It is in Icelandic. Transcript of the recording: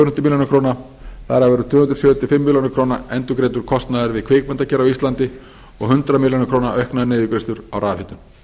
milljóna króna þar af eru tvö hundruð sjötíu og fimm milljónir króna endurgreiddur kostnaður við kvikmyndagerð á íslandi og hundrað milljónir króna auknar niðurgreiðslur á rafhitun